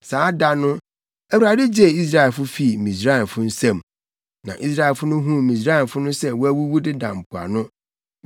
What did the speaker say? Saa da no Awurade gyee Israelfo fii Misraimfo nsam. Na Israelfo no huu Misraimfo no sɛ wɔawuwu deda mpoano.